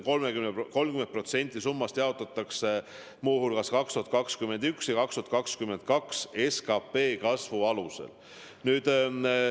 30% summast jaotatakse muu hulgas 2021. ja 2022. aasta SKP kasvu alusel.